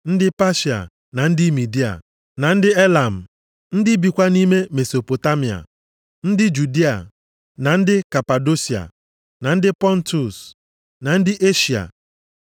Ndị Patia, na ndị Midia, na ndị Elam, ndị bikwa nʼime Mesopotamịa, ndị Judịa, na ndị Kapadosia, ndị Pọntọs, na ndị Eshịa,